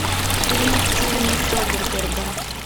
фильмы стивена содерберга